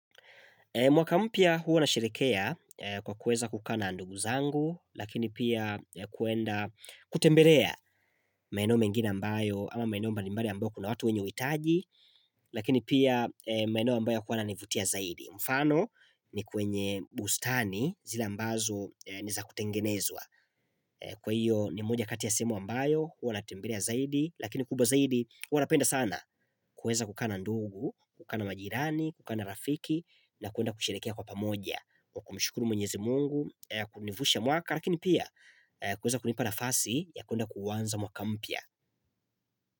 Mwaka mpya huwa na sherehea kwa kuweza kukaa na ndugu zangu, lakini pia kuenda kutembelea maeno mengine ambayo ama maeno mbalimbali ambayo kuna watu wenye uhitaji, lakini pia maeno ambayo yakuwa nivutia zaidi. Mfano ni kwenye bustani zile ambazo ni za kutengenezwa Kwa hiyo ni mmoja kati ya sehemu ambayo huwa na tembelea zaidi Lakini kubwa zaidi huwa napenda sana kuweza kukaa na ndugu kukaa na majirani kukaa na rafiki na kuenda kusherehekea kwa pamoja kwa kumshukuru mwenyezi mungu Kunivusha mwaka Lakini pia kuweza kunipa nafasi ya kuenda kuanza mwaka mpya.